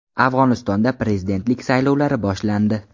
Afg‘onistonda prezidentlik saylovlari boshlandi.